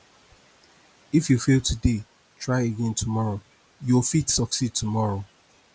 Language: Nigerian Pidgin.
if you fail today try again tomorrow yo fit succeed tomorrow